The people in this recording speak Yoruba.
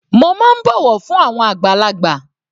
Mo má ń bọ̀wọ̀ fún àwọn àgbàlagbà.